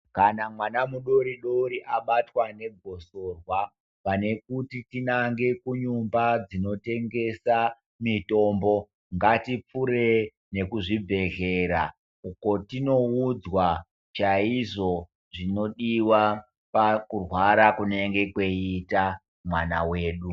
Kana mwana mudori dori abatwa ne gosorwa pane kuti tinange ku nyumba dzino tengesa mitombo ngati pfure neku zvibhedhlera uko tinoudzwa chaizvo zvinodiwa pakurwara kunenge kweita mwana wedu.